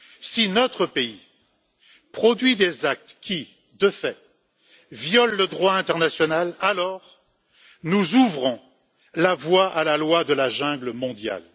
Si notre pays produit des actes qui, de fait, violent le droit international, alors nous ouvrons la voie à la loi de la jungle mondiale.